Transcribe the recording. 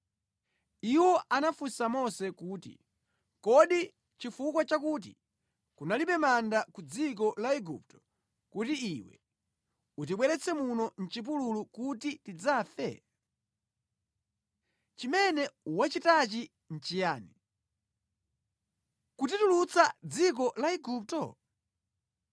Iwo anafunsa Mose kuti, “Kodi nʼchifukwa chakuti kunalibe manda ku dziko la Igupto kuti iwe utibweretse muno mʼchipululu kuti tidzafe? Chimene watichitachi nʼchiyani, kutitulutsa mʼdziko la Igupto?